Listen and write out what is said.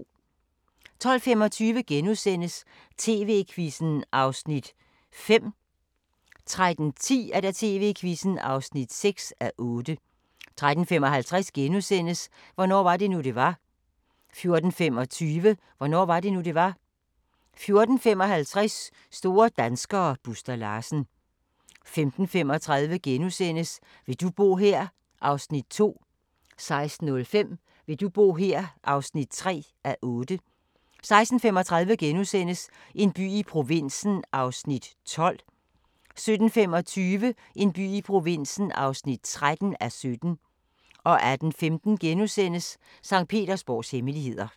12:25: TV-Quizzen (5:8)* 13:10: TV-Quizzen (6:8) 13:55: Hvornår var det nu, det var? * 14:25: Hvornår var det nu, det var? 14:55: Store danskere - Buster Larsen 15:35: Vil du bo her? (2:8)* 16:05: Vil du bo her? (3:8) 16:35: En by i provinsen (12:17)* 17:25: En by i provinsen (13:17) 18:15: Sankt Petersborgs hemmeligheder *